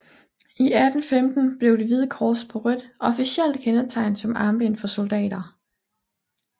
I 1815 blev det hvide kors på rødt officielt kendetegn som armbind for soldater